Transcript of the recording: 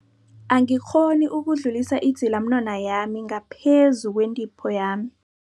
Angikghoni ukudlulisa idzilamunwana yami ngaphezu kwentipho yami.